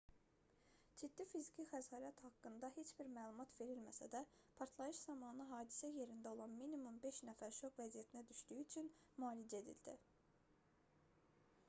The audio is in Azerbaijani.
ciddi fiziki xəsarət haqqında heç bir məlumat verilməsə də partlayış zamanı hadisə yerində olan minimum beş nəfər şok vəziyyətinə düşdüyü üçün müalicə edildi